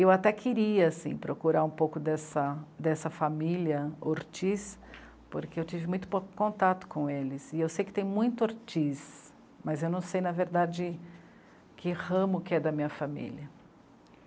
Eu até queria assim, procurar um pouco dessa família Ortiz, porque eu tive muito pouco contato com eles, e eu sei que tem muito Ortiz, mas eu não sei, na verdade, que ramo que é da minha família.